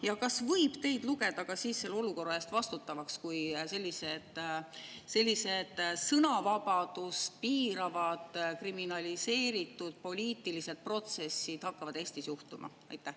Ja kas võib teid lugeda siis selle olukorra eest vastutavaks, kui sellised sõnavabadust piiravad kriminaliseeritud poliitilised protsessid hakkavad Eesti juhtuma?